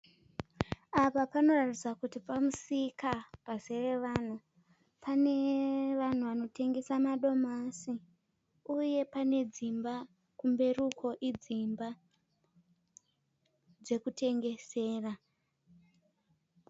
Apa panoratidza kuti pamusika pazere vanhu. Pane vanhu vanotengesa madomasi. Uye pane dzimba, kumberi uko idzimba dzekutengesera.